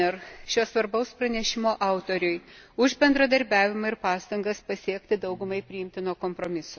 Fjellner, šio svarbaus pranešimo autoriui, už bendradarbiavimą ir pastangas siekiant daugumai priimtino kompromiso.